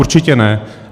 Určitě ne.